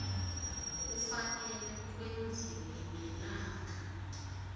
kufanele kwenziwe ngelanga